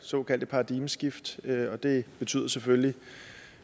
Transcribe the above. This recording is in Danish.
såkaldte paradigmeskift og det betyder selvfølgelig